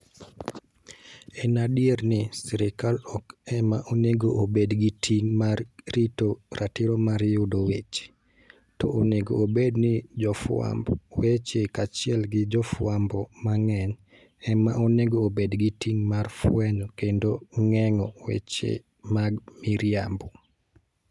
En adier ni, sirkal ok ema onego obed gi ting ' mar rito ratiro mar yudo weche, to onego obed ni jofwamb weche kaachiel gi jofwambo mang'eny, ema onego obed gi ting ' mar fwenyo kendo geng'o weche mag miriambo.